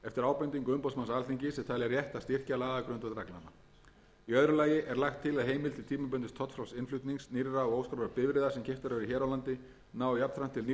ábendingu umboðsmanns alþingis er talið rétt að styrkja lagagrundvöll reglnanna í öðru lagi er lagt til að heimild til tímabundins tollfrjáls innflutnings nýrra og óskráðra bifreiða sem keyptar eru hér á landi nái jafnframt til nýrra